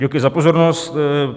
Děkuji za pozornost.